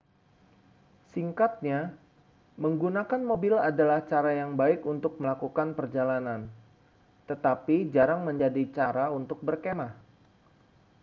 singkatnya menggunakan mobil adalah cara yang baik untuk melakukan perjalanan tetapi jarang menjadi cara untuk berkemah